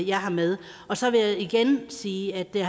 jeg har med så vil jeg igen sige at det